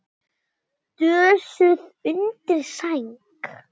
Dösuð undir sæng.